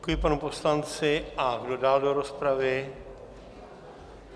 Děkuji panu poslanci, a kdo dál do rozpravy?